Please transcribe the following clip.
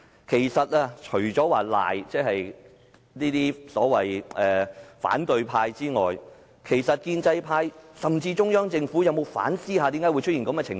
其實，除了指責所謂的反對派外，建制派甚至中央政府有否反思為甚麼會出現這種情況？